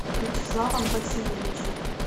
вячеславом васильевичем